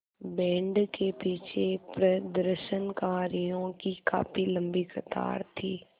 band के पीछे प्रदर्शनकारियों की काफ़ी लम्बी कतार थी